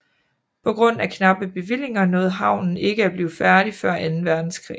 På grund af knappe bevillinger nåede havnen ikke at blive færdig før anden verdenskrig